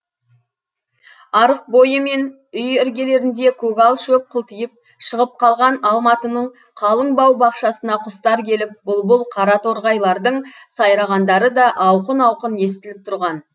арық бойы мен үй іргелерінде көгал шөп қылтиып шығып қалған алматының қалың бау бақшасына құстар келіп бұлбұл қараторғайлардың сайрағандары да ауқын ауқын естіліп тұрған